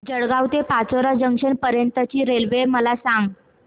जळगाव ते पाचोरा जंक्शन पर्यंतची रेल्वे मला सांग